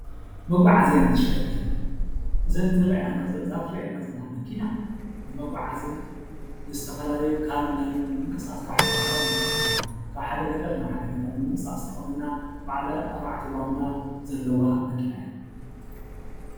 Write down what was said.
መጓዓዝያን ተሽከርከርትን፡- እዛ ትረአየና ዘላ መኪና ንመጓዓዝን ካብን ናብን ምንቅስቃስ ካብ ሓደ ከተማ ናብ ሓደ ከተማ ካብ ሓደ ገጠር ናብ ሓደ ገጠር ንምንቅስቓስ ትጠቕመና በዓል ኣርባዕተ ጎማ ዘለዋ መኪና እያ፡፡